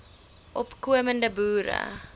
opko mende boere